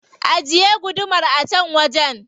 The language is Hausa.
Ajiye gudumar a can wajen.